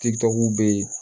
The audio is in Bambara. Titɔki bɛ ye